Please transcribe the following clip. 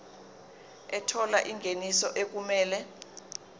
ethola ingeniso okumele